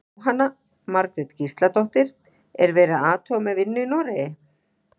Jóhanna Margrét Gísladóttir: Er verið að athuga með vinnu í Noregi?